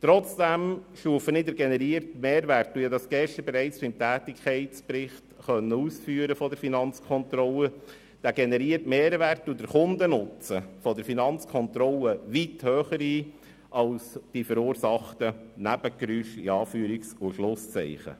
Trotzdem stufen wir den generierten Mehrwert – und wir konnten das gestern bereits zum Tätigkeitsbericht der Finanzkontrolle ausführen – und den Kundennutzen der Finanzkontrolle weit höher ein als die verursachten «Nebengeräusche».